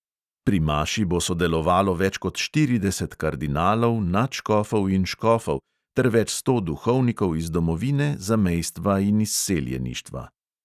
Pri maši bo sodelovalo več kot štirideset kardinalov, nadškofov in škofov ter več sto duhovnikov iz domovine, zamejstva in izseljeništva.